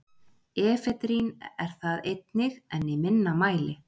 efedrín er það einnig en í minna mæli